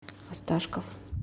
осташков